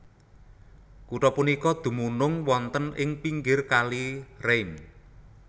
Kutha punika dumunung wonten ing pinggir Kali Rhein